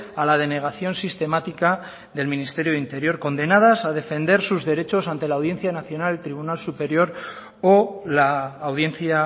a la denegación sistemática del ministerio de interior condenadas a defender sus derechos ante la audiencia nacional el tribunal superior o la audiencia